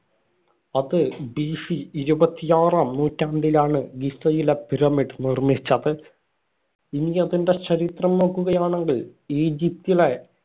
അത് BC ഇരുപത്തിയാറാം നൂറ്റാണ്ടിലാണ് ഗിസയിലെ pyramid നിര്‍മ്മിച്ചത്. ഇനി അതിന്‍റെ ചരിത്രം നോക്കുകയാണെങ്കില്‍ ഈജിപ്റ്റിലെ